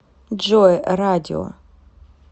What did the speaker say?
джой радио